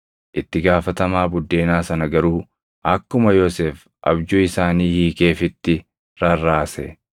Itti gaafatamaa buddeenaa sana garuu akkuma Yoosef abjuu isaanii hiikeefitti rarraase.